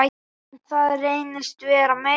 En það reynist vera meira.